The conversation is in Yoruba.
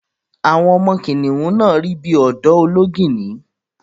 Àwọn ọmọ kìnnìún náà rí bí ọ̀dọ́ Olóngìní